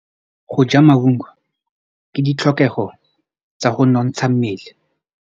Go ja maungo ke ditlhokegô tsa go nontsha mmele.